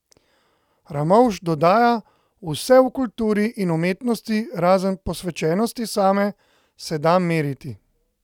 Ramovš dodaja: "Vse v kulturi in umetnosti, razen posvečenosti same, se da meriti.